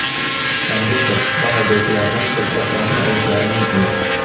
konduktor va haydovchilardan qo‘lqoplarni olishlari mumkin.